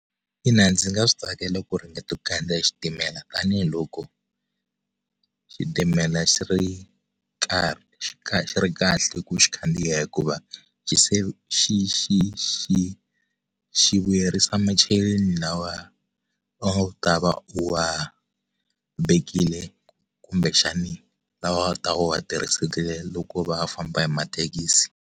Ina ndzi nga swi tsakela ku ringeta ku khandziya xitimela tanihiloko xitimela xi ri karhi xi kha xi ri kahle ku u xi khandziya hikuva xi xi xi xi vuyerisa macheleni lawa a wu ta va u wa vekile kumbe xani lawa a wu ta va u wa tirhisisile loko va u famba hi mathekisi.